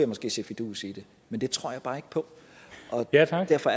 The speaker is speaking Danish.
måske se fidusen i det men det tror jeg bare ikke på og derfor derfor